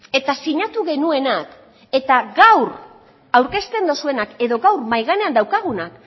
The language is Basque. eta sinatu genuenak eta gaur aurkezten duzuenak edo gaur mahai gainean daukagunak